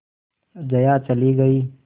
जया चली गई